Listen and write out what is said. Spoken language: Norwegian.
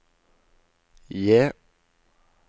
J